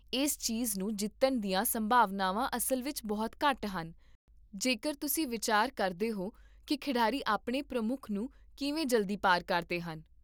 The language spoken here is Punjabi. ਇਸ ਚੀਜ਼ ਨੂੰ ਜਿੱਤਣ ਦੀਆਂ ਸੰਭਾਵਨਾਵਾਂ ਅਸਲ ਵਿੱਚ ਬਹੁਤ ਘੱਟ ਹਨ ਜੇਕਰ ਤੁਸੀਂ ਵਿਚਾਰ ਕਰਦੇ ਹੋ ਕਿ ਖਿਡਾਰੀ ਆਪਣੇ ਪ੍ਰਮੁੱਖ ਨੂੰ ਕਿਵੇਂ ਜਲਦੀ ਪਾਰ ਕਰਦੇ ਹਨ